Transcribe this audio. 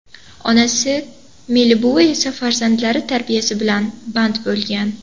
Onasi Melibuvi esa farzandlari tarbiyasi bilan band bo‘lgan.